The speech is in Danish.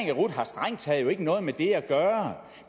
i rut strengt taget ikke har noget med det at gøre